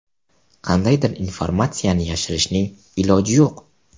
Qandaydir informatsiyani yashirishning iloji yo‘q.